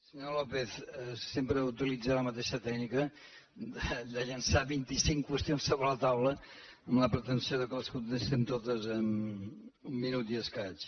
senyor lópez sempre utilitza la ma teixa tècnica de llançar vint i cinc qüestions sobre la taula amb la pretensió que les contestem totes en un minut i escaig